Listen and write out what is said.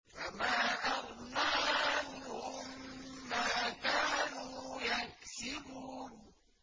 فَمَا أَغْنَىٰ عَنْهُم مَّا كَانُوا يَكْسِبُونَ